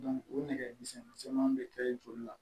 o nɛgɛmisɛnnin caman bɛ kɛ joli la